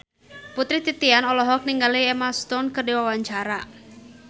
Putri Titian olohok ningali Emma Stone keur diwawancara